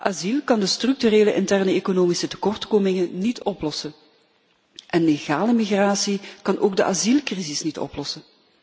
Asiel kan de structurele interne economische tekortkomingen niet oplossen en legale migratie kan ook de asielcrisis niet oplossen.